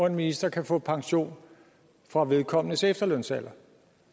en minister kan få pension fra vedkommendes efterlønsalder